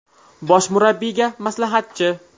Bosh murabbiyga maslahatchi.